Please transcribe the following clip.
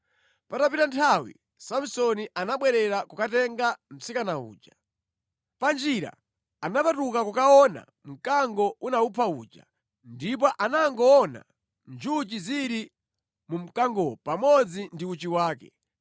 Patapita nthawi, Samsoni anabwerera kukatenga mtsikana uja. Panjira anapatuka kukaona mkango unawupha uja, ndipo anangoona njuchi zili mu mkangowo pamodzi ndi uchi wake.